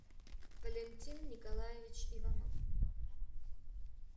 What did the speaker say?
валентин николаевич иванов